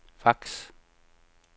fax